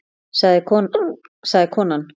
sagði konan.